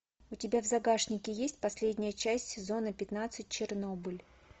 у тебя в загашнике есть последняя часть сезона пятнадцать чернобыль